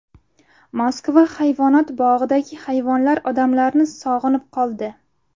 Moskva hayvonot bog‘idagi hayvonlar odamlarni sog‘inib qoldi.